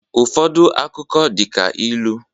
Ụfọdụ akụkọ dị ka ilu